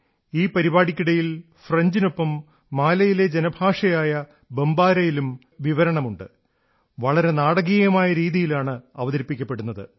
ഈ പരിപാടിക്കിടയിൽ ഫ്രഞ്ചിനൊപ്പം മാലിയിലെ ജനഭാഷയായ ബംബാരായിലും കമന്ററിയുണ്ട് വളരെ നാടകീയമായ രീതിയിലാണ് അവതരിപ്പിക്കപ്പെടുന്നത്